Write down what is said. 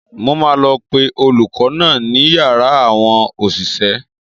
Mo máa lọ pe olùkọ́ náà ní yàrá àwọn òṣìṣẹ́.